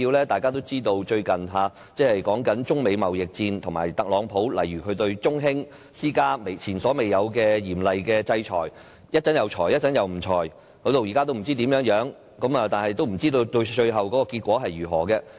大家也知道，最近爆發中美貿易戰，特朗普對中興通訊股份有限公司施加前所未有的嚴厲制裁，一會兒制裁，一會兒又取消制裁，現在也不知道怎樣，不知道最後結果為何。